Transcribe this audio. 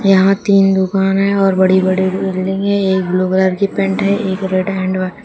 यहां तीन दुकान है और बड़ी बड़ी बिल्डिंग है एक ब्लू कलर की पेंट है एक रेड एंड वा --